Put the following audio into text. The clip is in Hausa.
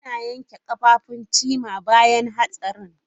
An yanke kafafun Chima bayan hatsarin.